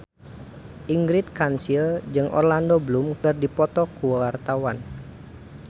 Ingrid Kansil jeung Orlando Bloom keur dipoto ku wartawan